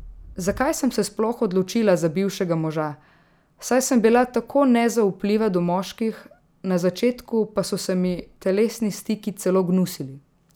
Zakaj sem se sploh odločila za bivšega moža, saj sem bila tako nezaupljiva do moških, na začetku pa so se mi telesni stiki celo gnusili?